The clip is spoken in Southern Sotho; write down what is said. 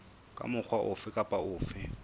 ka mokgwa ofe kapa ofe